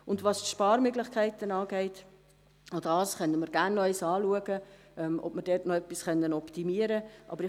Was die Sparmöglichkeiten betrifft, auch dies können wir gerne dahingehend anschauen, ob wir da noch etwas optimieren können.